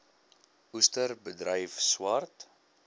oester bedryf swart